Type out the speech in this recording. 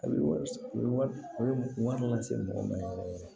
A bɛ wari a bɛ wari lase mɔgɔ ma yɛrɛ yɛrɛ yɛrɛ